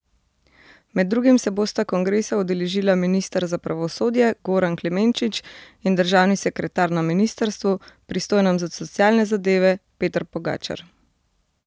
Med drugim se bosta kongresa udeležila minister za pravosodje Goran Klemenčič in državni sekretar na ministrstvu, pristojnem za socialne zadeve, Peter Pogačar.